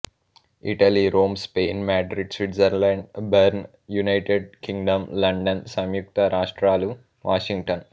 Italy Rome Spain Madrid Switzerland Bern United Kingdom London సంయుక్త రాష్ట్రాలు Washington